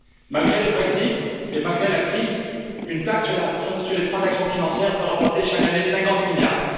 Malgré le Brexit et malgré la crise, une taxe sur les transactions financières peut rapporter chaque année 50 milliards.